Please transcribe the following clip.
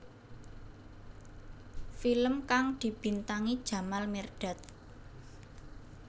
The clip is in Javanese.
Film kang dibintangi Jamal Mirdad